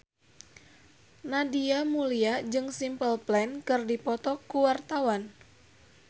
Nadia Mulya jeung Simple Plan keur dipoto ku wartawan